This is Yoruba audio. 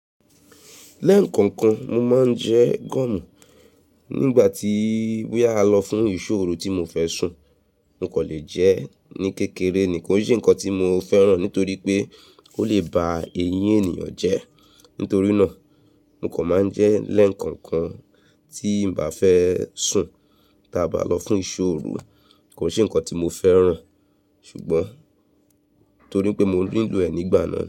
Lẹ́ẹ̀kọ̀ọ̀kan mo máa ń jẹ gúúmù. Nígbà tí bóyá a lọ fún ìṣóòru tí mo fẹ́ sùn, n kò lè jẹ ẹ́ ní kékeré ni kò ṣe nǹkan tí mo fẹ́ràn nítorí pé ó lè ba eyín ènìyàn jẹ́. Nítorí náà, mo kan máa ń jẹ ẹ́ lẹ́ẹ̀kọ̀ọ̀kan tí n bá fẹ́ sùn ta bá lọ fún ìṣòro. Kò ṣe nǹkan tí mo fẹ́ràn ṣùgbọ́n nítorí pé mo ń lò ẹ̀ nígbà náà.